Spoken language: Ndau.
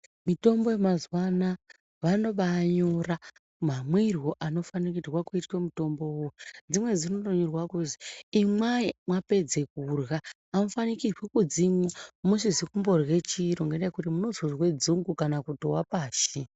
Mitombo yemazuva ano vanoba nyora mamwirwo anofanirwa kuita mutombo iwowo dzimweni dzinonyorwa kuziva imwai mwapedza kurya amufaniri kudzimwa musina kurya chiro ngenda yekuti munozonzwa dzungu kana kuwa pashi.